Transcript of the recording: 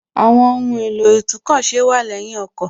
Àwọn ohùn èlò itúnkọ̀ ṣe wà lẹ́yìn ọkọ̀